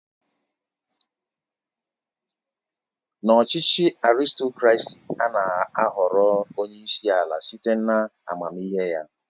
N'ọchịchị Arịstokrasị, ana ahọrọ onyeisi ala site na amamihe ya.